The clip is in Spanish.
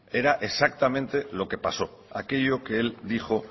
era exactamente lo que pasó aquello que él dijo